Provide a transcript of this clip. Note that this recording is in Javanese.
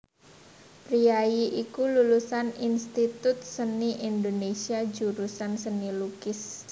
Priyayi iki lulusan Institut Seni Indonésia jurusan Seni Lukis